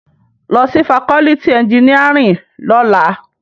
Lò si fákòlìtí ènjìníárìn lòlá